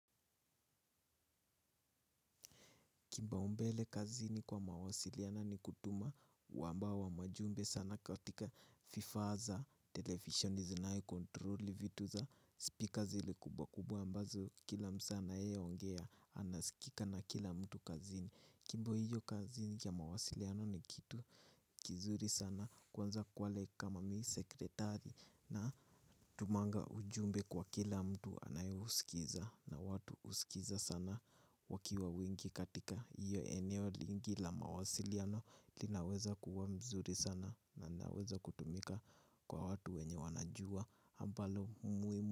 Kipaumbele kazini kwa mawasiliana ni kutuma wamba wa majumbe sana katika fifa za, televisheni zinayo kontroli, vitu za speaker zile kubwa kubwa ambazo kila msee anayeongea anasikika na kila mtu kazini. Kimbo hiyo kazi kia mawasiliano ni kitu kizuri sana kwanza kwale kama mi sekritari na tumanga ujumbe kwa kila mtu anayeusikiza na watu huskiza sana wakiwa wengi katika iyo eneo lingi la mawasiliano linaweza kuwa mzuri sana na naweza kutumika kwa watu wenye wanajua ambalo muhimu.